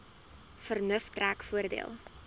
vernuf trek voordeel